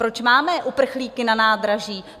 Proč máme uprchlíky na nádraží?